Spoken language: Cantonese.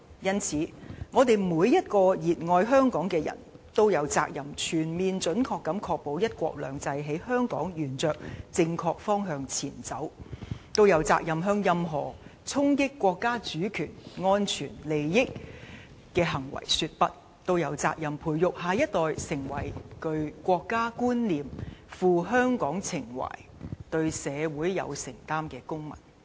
因此，我們每一個熱愛香港的人都有責任全面準確地確保'一國兩制'在香港沿着正確方向前進、都有責任向任何衝擊國家主權、安全、發展利益的行為說'不'、都有責任培養下一代成為具國家觀念、富香港情懷和對社會有承擔的公民。